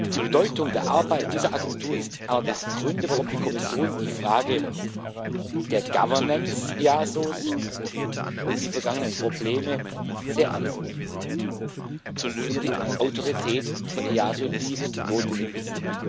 Die Bedeutung der Arbeit dieser Agentur ist einer der Gründe, warum die Kommission die Frage der Governance des EASO und die vergangenen Probleme sehr ernst nimmt. Es geht um die Autorität des EASO, die notwendig ist.